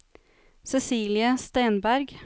Cecilie Stenberg